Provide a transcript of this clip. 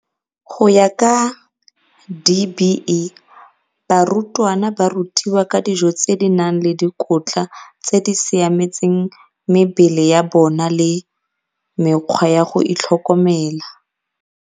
Go ya ka DBE, barutwana ba rutiwa ka dijo tse di nang le dikotla tse di siametseng mebele ya bona le mekgwa ya go itlhokomela.